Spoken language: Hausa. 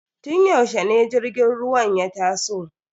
Tun yaushe ne jirgin ruwan ya taso?